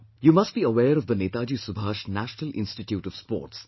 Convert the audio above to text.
You must be aware of the Netaji Subhash National Institute of Sports N